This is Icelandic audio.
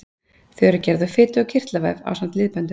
Þau eru gerð úr fitu- og kirtlavef ásamt liðböndum.